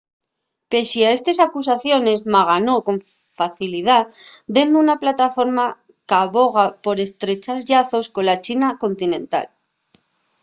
pesie a estes acusaciones ma ganó con facilidá dende una plataforma qu’aboga por estrechar llazos cola china continental